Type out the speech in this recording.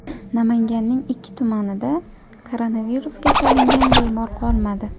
Namanganning ikki tumanida koronavirusga chalingan bemor qolmadi.